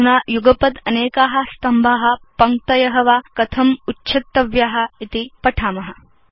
अधुना युगपत् अनेका स्तम्भा पङ्क्तय वा कथम् उच्छेत्तव्या इति पठाम